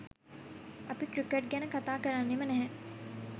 අපි ක්‍රිකට් ගැන කතා කරන්නෙම නැහැ.